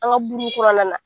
An ka kura nana.